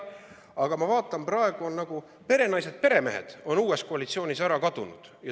Aga ma vaatan, praegu on perenaised-peremehed uues koalitsioonis nagu ära kadunud.